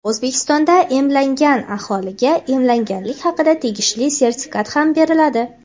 O‘zbekistonda emlangan aholiga emlanganlik haqida tegishli sertifikat ham beriladi.